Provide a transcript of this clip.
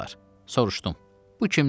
Soruşdum: "Bu kimdir?"